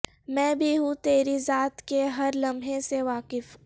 میں بھی ہوں تری ذات کے ہر لمحے سے واقف